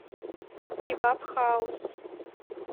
кебаб хаус